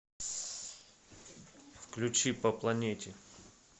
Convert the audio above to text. включи по планете